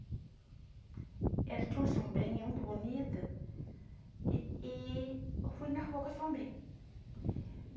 Ela tinha uma sombrinha muito bonita e e eu fui na rua com a sombrinha.